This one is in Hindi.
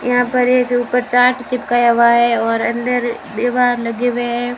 यहां पर एक ऊपर चार्ट चिपकाया हुआ है और अंदर एक दीवार लगे हुए हैं।